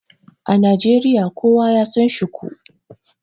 A Najeriya, kowa ya San shuku.